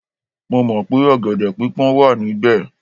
Mo mọ̀ pé ọ̀gẹ̀dẹ̀ pípọ́n wà níbẹ̀